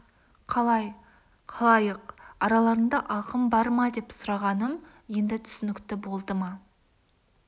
қалай халайық араларыңда ақын бар ма деп сұрағаным енді түсінікті болды ма